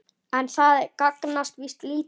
En það gagnast víst lítið.